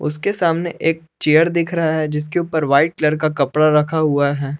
उसके सामने एक चेयर दिख रहा है जिसके ऊपर व्हाइट कलर का कपड़ा रखा हुआ है।